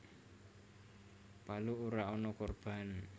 Palu ora ana korban